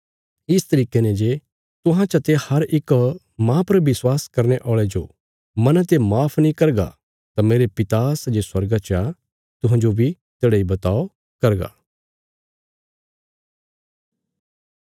इस तरिके ने जे तुहां चते हर इक मांह पर विश्वास करने औल़े जो मना ते माफ नीं करगा तां मेरे पिता सै जे स्वर्गा चा तुहांजो बी तेढ़ा इ बर्ताव करना